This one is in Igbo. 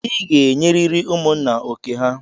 I ga-enyeriri ụmụ nna oké ha!